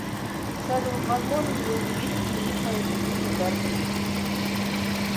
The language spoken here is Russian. салют возможен ли увеличить лимит моей кредитной карты